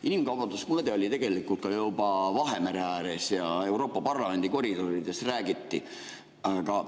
Inimkaubanduse mõõde oli tegelikult juba ka Vahemere ääres ja Euroopa Parlamendi koridorides räägiti.